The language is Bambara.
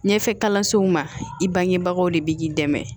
Ɲɛfɛ kalansow ma i bangebagaw de bɛ k'i dɛmɛ